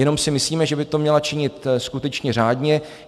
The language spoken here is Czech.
Jenom si myslíme, že by to měla činit skutečně řádně.